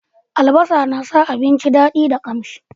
albasa na sa abinci dadi da kamshi